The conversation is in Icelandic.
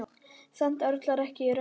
Samt örlar ekki á rökkri.